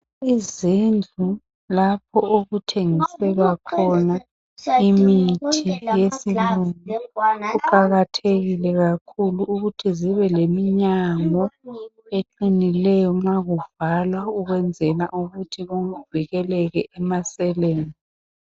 Izindlu lapho okuthengiselwa khona imithi yesilungu kuqakathekile kakhulu ukuthi zibe leminyango eqinileyo ukwenzela nxa kuvalwa kuvikeleke emaseleni.